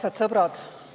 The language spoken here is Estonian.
Armsad sõbrad!